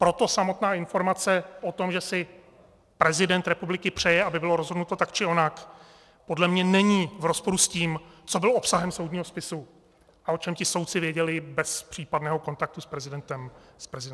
Proto samotná informace o tom, že si prezident republiky přeje, aby bylo rozhodnuto tak či onak, podle mě není v rozporu s tím, co bylo obsahem soudního spisu a o čem ti soudci věděli bez případného kontaktu s prezidentem republiky.